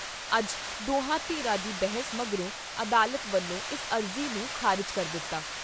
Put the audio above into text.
ਅੱਜ ਦੋਹਾਂ ਧਿਰਾਂ ਦੀ ਬਹਿਸ ਮਗਰੋਂ, ਅਦਾਲਤ ਵੱਲੋਂ ਇਸ ਅਰਜ਼ੀ ਨੂੰ ਖਾਰਿਜ਼ ਕਰ ਦਿੱਤਾ।